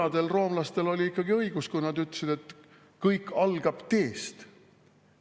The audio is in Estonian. … vanadel roomlastel oli ikkagi õigus, kui nad ütlesid, et kõik algab teest.